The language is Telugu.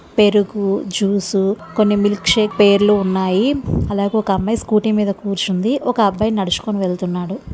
పెరుగు జ్యూస్ కొన్ని మిల్క్ షేక్ పేర్లు ఉన్నాయి అలాగే ఒక అమ్మాయి స్కూటీ మీద కూర్చుంది ఒక అబ్బాయి నడుచుకొని వెళ్తున్నాడు.